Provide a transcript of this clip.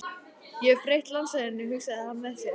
Ég hef breytt landslaginu, hugsaði hann með sér.